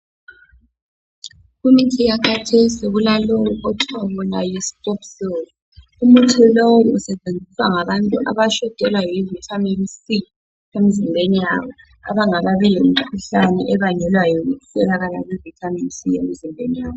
Kumithi yakhathesi kulalowu okuthiwa yi Strepsils, umuthi lowu usetshenziswa ngabantu abashotelwa yi Vitamin C emzimbeni yabo abangakabi lemikhuhlane ebangelwa yikuswelakala kwe Vitamin C emzimbeni yabo